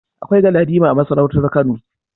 Akwai Galadima a masarautar Kano.